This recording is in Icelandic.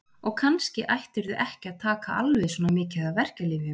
Og kannski ættirðu ekki að taka alveg svona mikið af verkjalyfjum.